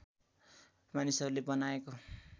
मानिसहरूले बनाएको